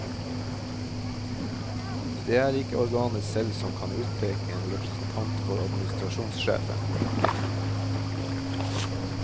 Det er ikke organet selv som kan utpeke en representant for administrasjonssjefen.